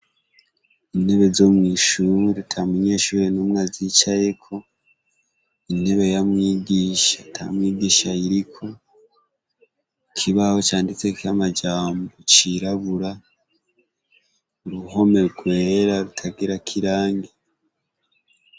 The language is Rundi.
Intebe zo mw'ishure ata munyeshure n'umwe azicayeko, intebe ya mwigisha ata mwigisha ayiriko , ikibaho canditseko amajambo cirabura, uruhome rwera rutagirako irangi.